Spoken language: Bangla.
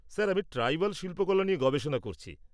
স্যার, আমি ট্রাইবাল শিল্পকলা নিয়ে গবেষণা করছি।